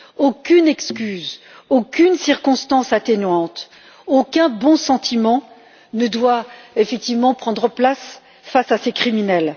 Aucune excuse, aucune circonstance atténuante, aucun bon sentiment ne doit effectivement prendre place face à ces criminels.